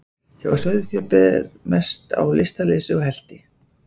Hjá sauðfé ber mest á lystarleysi og helti.